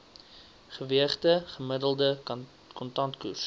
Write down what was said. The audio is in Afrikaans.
geweegde gemiddelde kontantkoers